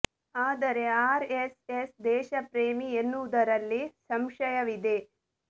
ಆದರೆ R S S ದೇಶ ಪ್ರೇಮಿ ಎನ್ನುವುದರಲ್ಲಿ ಸಂಶಯ ಇದೆ